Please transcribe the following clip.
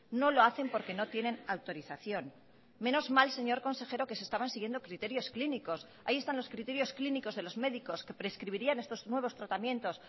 no lo hacen porque no tienen autorización menos mal señor consejero que se estaban siguiendo criterios clínicos ahí están los criterios clínicos de los médicos que prescribirían estos nuevos tratamientos